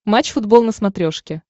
матч футбол на смотрешке